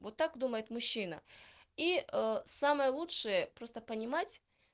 вот так думает мужчина и самое лучшее просто понимать